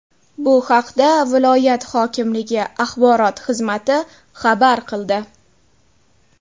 Bu haqda viloyat hokimligi axborot xizmati xabar qildi .